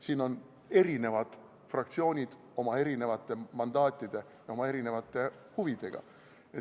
Siin on eri fraktsioonid oma erinevate mandaatide ja huvidega.